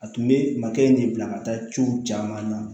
A tun bɛ makɛ in de bila ka taa ciw caman na